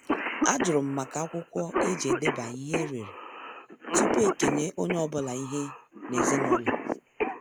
Ajurum maka akwụkwọ eji edeba ihe ereree tupu ekenye onye ọbụla ihe ezinaụlọ.